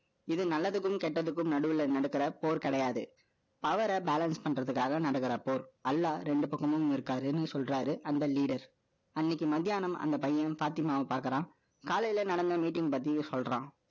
இது நல்லதுக்கும், கெட்டதுக்கும் நடுவுல நடக்கிற போர் கிடையாது. அவரை balance பண்றதுக்காக நடக்கிற போர். அல்லாஹ் இரண்டு பக்கமும் இருக்காருன்னு சொல்றாரு. அந்த leader அன்னைக்கு மத்தியானம், அந்த பையனும், பாத்திமாவும் பாக்குறான். காலையில நடந்த meeting பத்தியும் சொல்றான்.